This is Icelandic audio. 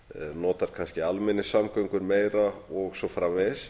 notar kannski almenningssamgöngur meira og svo framvegis